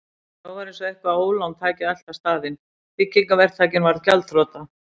En þá var eins og eitthvert ólán tæki að elta staðinn: Byggingaverktakinn varð gjaldþrota.